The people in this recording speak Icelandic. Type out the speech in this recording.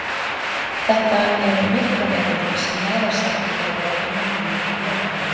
þetta eru myrkraverur sem varasamar eru okkur mönnunum líkt og jólakötturinn